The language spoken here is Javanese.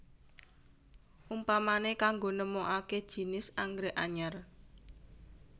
Umpamané kanggo nemokaké jinis anggrèk anyar